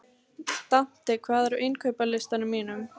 Dante, hvað er á innkaupalistanum mínum?